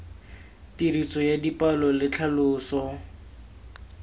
tiriso ya dipalo le tlhaloso